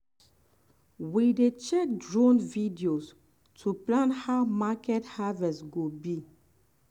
we dey check drone videos to plan how market harvest go be.